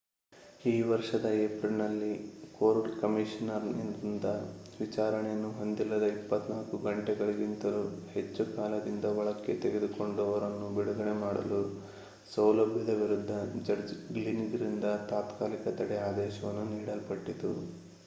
ಈ ವರ್ಷದ ಏಪ್ರಿಲ್‌ನಲ್ಲಿ ಕೋರ್ಟ್‌ ಕಮಿಷನರ್‌ರಿಂದ ವಿಚಾರಣೆಯನ್ನು ಹೊಂದಿಲ್ಲದ 24 ಗಂಟೆಗಳಿಗಿಂತಲೂ ಹೆಚ್ಚು ಕಾಲದಿಂದ ಒಳಕ್ಕೆ ತೆಗೆದುಕೊಂಡವರನ್ನು ಬಿಡುಗಡೆ ಮಾಡಲು ಸೌಲಭ್ಯದ ವಿರುದ್ಧ ಜಡ್ಜ್‌ ಗ್ಲಿನ್‌ರಿಂದ ತಾತ್ಕಾಲಿಕ ತಡೆ ಆದೇಶವನ್ನು ನೀಡಲ್ಪಟ್ಟಿತು